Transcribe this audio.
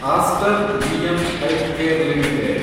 Aster DM healthcare limited